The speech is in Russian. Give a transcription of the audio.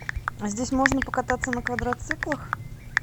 а здесь можно покататься на квадроциклах